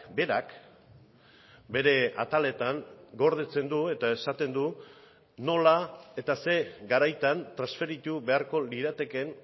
berak bere ataletan gordetzen du eta esaten du nola eta ze garaitan transferitu beharko liratekeen